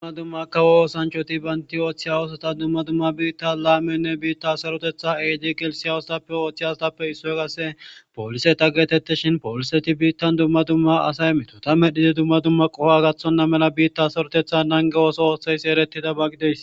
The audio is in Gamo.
dumma dumma kawo oosanchoti baynti ooththiya woosota dumma dumma biitta laamenne biitta sarotetha eedi gelsiyawostappe ooththe a wostappe issoy kase pooliseta getette shin pooliseti biittan dumma dumma asay emeto ta medhide dumma dumma qofo gathonna mela biitta sarotetha nange ooso ooththeysi erettida baggides